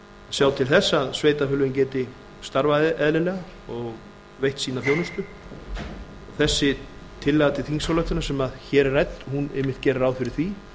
sjá til þess að sveitarfélögin geti starfað eðlilega og veitt sína þjónustu þessi tillaga til þingsályktunar sem hér er rædd hún einmitt gerir ráð fyrir því